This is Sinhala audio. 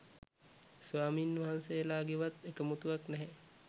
ස්වාමින් වහන්සේලගේවත් එකමුතුවක් නැහැ.